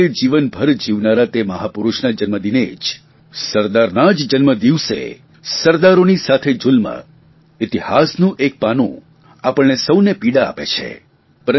એકતા માટે જીવનભર જીવનારા તે મહાપુરૂષના જન્મદિને જ અને સરદારના જ જન્મદિવસે સરાદરોની સાથે જુલ્મ ઇતિહાસનું એક પાનું આપણે સૌને પીડા આપે છે